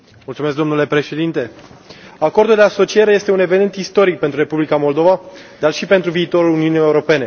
Domnule președinte, Acordul de asociere este un eveniment istoric pentru Republica Moldova, dar și pentru viitorul Uniunii Europene.